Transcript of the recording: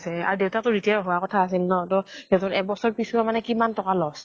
আৰু দেউতাক তো retire হোৱা কথা আছিল ন । সিহঁতৰ এবছৰ পিছোৱা মানে কিমান টকা loss